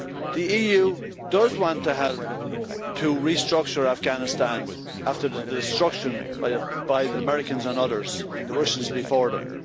The EU does want to help to restructure Afghanistan after the destruction by the Americans and others, and the Russians before them.